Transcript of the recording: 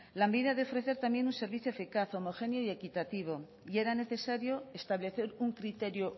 lanbide ha de ofrecer también un servicio eficaz homogéneo y equitativo y era necesario establecer un criterio